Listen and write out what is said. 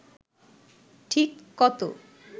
ঠিক কত